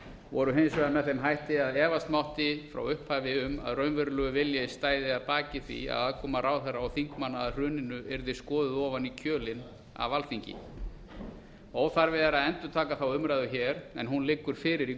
voru hins vegar með þeim hætti að efast mátti frá upphafi um að raunverulegur vilji stæði að baki því að aðkoma ráðherra og þingmanna að hruninu yrðu skoðuð ofan í kjölinn af alþingi óþarfi er að endurtaka umræðuna hér en hrun liggur fyrir í